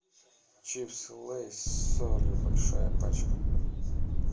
чипсы лейс с солью большая пачка